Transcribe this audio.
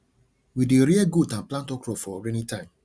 we dey rear goat and plant okro for rainy time